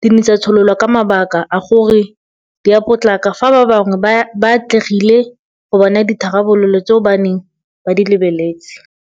di ne tsa tshololwa ka mabaka a gore ga di a potlaka fa ba bangwe ba atlegile go bona ditharabololo tseo ba neng ba di lebeletse.